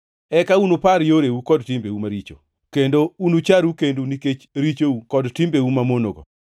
Eka unupar yoreu kod timbeu maricho, kendo unucharu kendu nikech richou kod timbeu mamonogo.